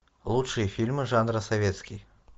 лучшие фильмы жанра советский